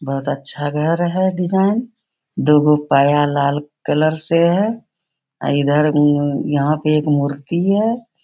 बहुत अच्छा घर है डिज़ाइन दोगो पाया लाल कलर से है अ इधर उम यहाँ पे एक मूर्ति भी है।